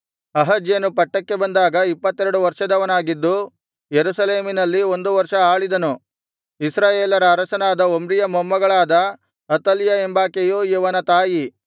ಅಹಜ್ಯನು ಪಟ್ಟಕ್ಕೆ ಬಂದಾಗ ಇಪ್ಪತ್ತೆರಡು ವರ್ಷದವನಾಗಿದ್ದು ಯೆರೂಸಲೇಮಿನಲ್ಲಿ ಒಂದು ವರ್ಷ ಆಳಿದನು ಇಸ್ರಾಯೇಲರ ಅರಸನಾದ ಒಮ್ರಿಯ ಮೊಮ್ಮಗಳಾದ ಅತಲ್ಯ ಎಂಬಾಕೆಯು ಇವನ ತಾಯಿ